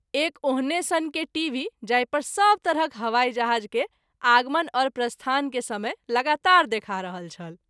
एक ओहने सन के टीभी जाहि पर सभ तरहक हवाई जहाज़ के आगमन और प्रस्थान के समय लगातार देखा रहल छल।